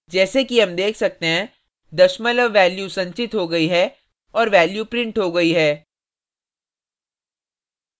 जैसे कि हम देख सकते हैं दशमलव value संचित हो गई है और value printed हो गई है